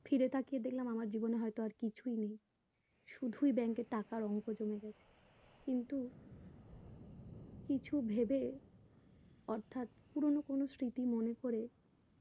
ফিরে তাকিয়ে দেখলাম আমার জীবনে হয়তো আর কিছুই নেই শুধুই bank এ টাকার অঙ্ক জমে গেছে কিন্তু কিছু ভেবে অর্থাৎ পুরোনো কোনো স্মৃতি মনে করে